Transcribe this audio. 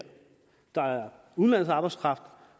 der er udenlandsk arbejdskraft